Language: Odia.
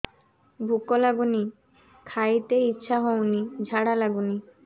ଭୁକ ଲାଗୁନି ଖାଇତେ ଇଛା ହଉନି ଝାଡ଼ା ଲାଗୁନି